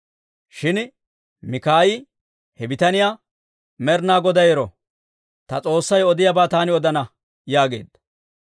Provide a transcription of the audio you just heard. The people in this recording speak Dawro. Shin Mikaayi he bitaniyaa, «Med'inaa Goday ero! Ta S'oossay odiyaabaa taani odana» yaageedda.